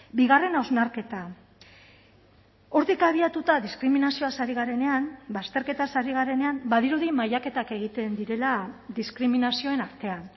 bigarren hausnarketa hortik abiatuta diskriminazioaz ari garenean bazterketaz ari garenean badirudi mailaketak egiten direla diskriminazioen artean